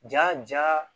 Ja ja